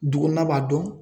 Du kɔnɔna b'a dɔn.